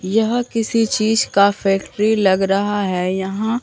यह किसी चीज का फैक्ट्री लग रहा है यहां--